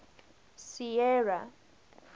sierra